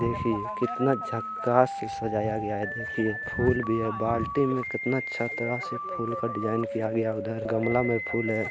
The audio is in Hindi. देखिए कितना झक्कास सजाया गया है देखिए फूल भी है बाल्टी भी है कितना अच्छे तरह से फूल का डिज़ाइन किया उधर गमला में फूल है।